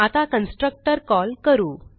आता constructor call करू